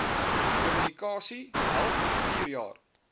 kommunikasie help vierjaar